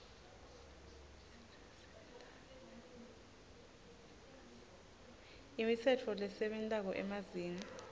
imitsetfo lesebentako emazinga